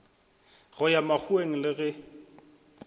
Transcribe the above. go ya makgoweng le ge